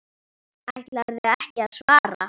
Ætlarðu ekki að svara?